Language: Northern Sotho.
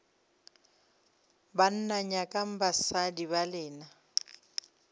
banna nyakang basadi ba lena